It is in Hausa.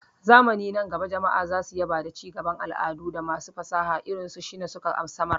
Zamani nan gaba jama'a za su yaba da cigaban al'adu da masu fasaha irin su Shina suka samar.